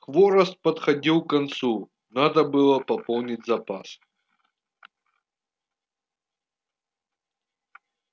хворост подходил к концу надо было пополнить запас